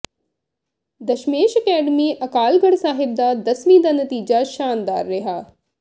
Dasmesh academy Akalgarh Sahib ਦਾ ਦਸਵੀਂ ਦਾ ਨਤੀਜਾ ਸ਼ਾਨਦਾਰ ਰਿਹਾ